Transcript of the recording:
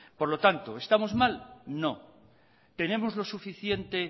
por lo tanto estamos mal no tenemos lo suficiente